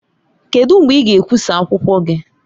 Kedu mgbe ị ga-ekwụsa akwụkwọ gị?